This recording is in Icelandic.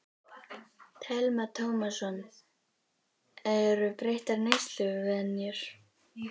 Telma Tómasson: Eru breyttar neysluvenjur?